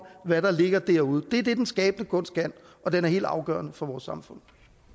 hvad der ligger derude det er det den skabende kunst kan og den er helt afgørende for vores samfund